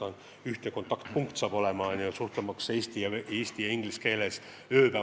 Saab olema ühtne kontaktpunkt, suhtlemaks ööpäev läbi nii eesti kui inglise keeles.